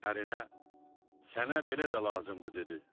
Ərinə: "Sənə belə də lazımdır" - dedi.